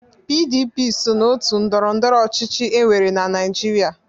PDP so n'òtù ndọrọ ndọrọ ọchịchị e nwere na Naịjirịa.